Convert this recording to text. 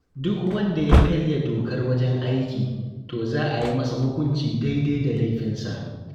Duk wanda ya karya dokar wajen aiki, to za a yi masa hukunci daidai da laifinsa.